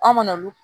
An mana olu